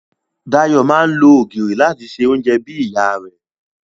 Dayọ̀ máa ń lo ògìrì láti se oúnjẹ bí ìyá rẹ̀